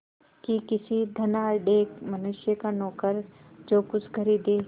कि किसी धनाढ़य मनुष्य का नौकर जो कुछ खरीदे